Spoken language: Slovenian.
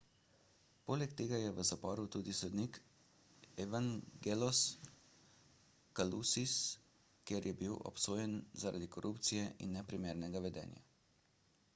poleg tega je v zaporu tudi sodnik evangelos kalousis ker je bi obsojen zaradi korupcije in neprimernega vedenja